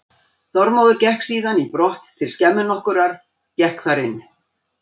Þormóður gekk síðan í brott til skemmu nokkurrar, gekk þar inn.